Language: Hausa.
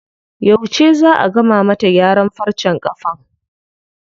Yauce zaa a gama mata gyaran farcen ƙafan?